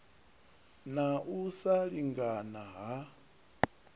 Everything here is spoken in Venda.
na u sa lingana ha